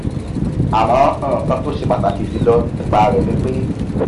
àmọ nkan tó ṣe pàtàkì jùlọ nípa rẹ ni pé